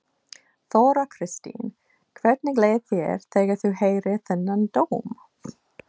Þóra Kristín: Hvernig leið þér þegar þú heyrðir þennan dóm?